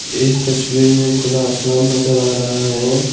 इस तस्वीर में खुला आसमान नजर आ रहा है ।